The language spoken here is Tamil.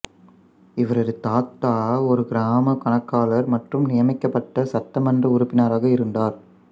இவரது தாத்தா ஒரு கிராம கணக்காளர் மற்றும் நியமிக்கப்பட்ட சட்டமன்ற உறுப்பினராக இருந்தார்